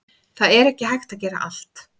Það er ekki hægt að gera allt